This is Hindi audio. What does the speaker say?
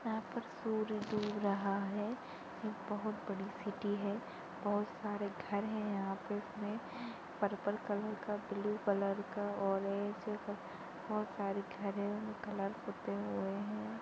यहां पर सूरज डूब रहा है यह बहुत बड़ी सिटी है बहुत सारे घर है यहां पे पर्पल कलर का ब्लू कलर ऑरेंज बहुत सारे कलर पुते हुए है।